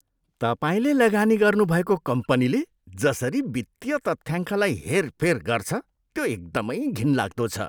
तपाईँले लगानी गर्नुभएको कम्पनीले जसरी वित्तीय तथ्याङ्कलाई हेरफेर गर्छ, त्यो एकदमै घिनलाग्दो छ।